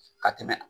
Ka tɛmɛ